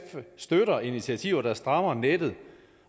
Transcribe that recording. støtter initiativer der strammer nettet